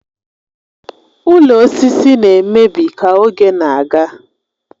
Ụlọ osisi na-emebi ka oge na-aga